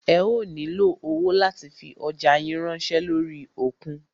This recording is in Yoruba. Ẹ ó nílo owó láti fi ọjá yín ránṣẹ́ lórí òkun.